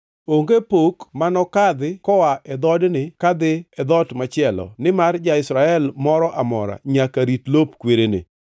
Onge pok mano kadhi koa e dhoodni kadhi e dhoot machielo, nimar ja-Israel moro amora nyaka rit lop kwerene.”